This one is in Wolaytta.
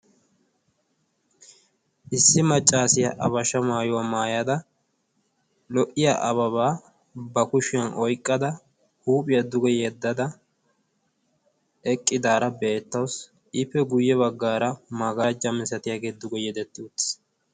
issi maccaasiyaa abashsha maayuwaa maayada lo''iya ababaa ba kushiyan oyqqada huuphiyaa duge yeddada eqqidaara beettawusi iippe guyye baggaara maagarajja misatiyaagee duge yedetti uttiis